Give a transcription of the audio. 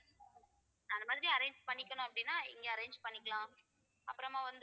அந்த மாதிரி arrange பண்ணிக்கணும் அப்படின்னா இங்க arrange பண்ணிக்கலாம் அப்புறமா வந்து